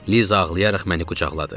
Liza ağlayaraq məni qucaqladı.